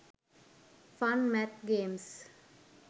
fun math games